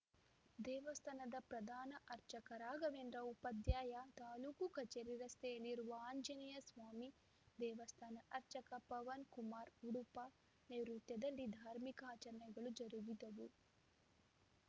ದೇವಸ್ಥಾನದ ಪ್ರಧಾನ ಅರ್ಚಕ ರಾಘವೇಂದ್ರ ಉಪಾಧ್ಯಾಯ ತಾಲೂಕು ಕಚೇರಿ ರಸ್ತೆಯಲ್ಲಿರುವ ಆಂಜನೇಯ ಸ್ವಾಮಿ ದೇವಸ್ಥಾನ ಅರ್ಚಕ ಪವನ್‌ಕುಮಾರ್‌ ಉಡುಪ ನೇರ್ಯುತ್ವದಲ್ಲಿ ಧಾರ್ಮಿಕ ಆಚರಣೆಗಳು ಜರುಗಿದವು